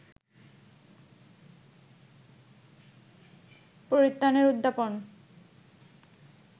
পরিত্রাণের উদ্যাপন